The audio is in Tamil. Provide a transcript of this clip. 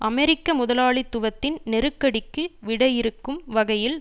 அமெரிக்க முதலாளித்துவத்தின் நெருக்கடிக்கு விடையிறுக்கும் வகையில்